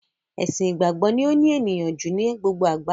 Ẹ̀sìn ìgbàgbọ́ ni ó ní ènìyàn ju ni gbogbo àgbáyé